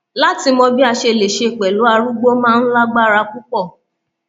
láti mọ bí a ṣe lè ṣe pẹlú arúgbó máa ń lágbára púpọ